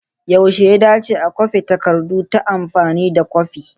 Yaushe ya dace a kwafi takardu ta amfani da kwafi?